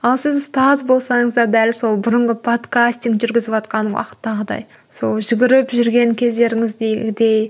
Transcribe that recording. ал сіз ұстаз болсаңыз да дәл сол бұрынғы подкастинг жүргізіватқан уақыттағыдай сол жүгіріп жүрген кездеріңіздегідей